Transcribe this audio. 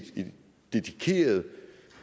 et dedikeret